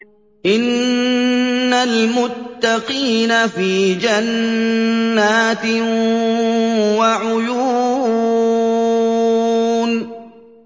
إِنَّ الْمُتَّقِينَ فِي جَنَّاتٍ وَعُيُونٍ